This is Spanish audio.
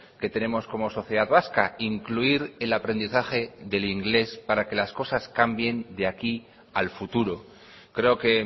que tenemos como sociedad vasca incluir el aprendizaje del inglés para que las cosas cambien de aquí al futuro creo que